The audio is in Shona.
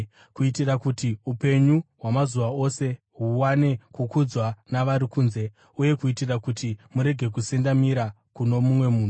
kuitira kuti upenyu hwamazuva ose huwane kukudzwa navari kunze uye kuitira kuti murege kusendamira kuno mumwe munhu.